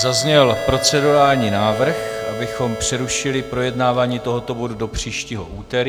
Zazněl procedurální návrh, abychom přerušili projednávání tohoto bodu do příštího úterý.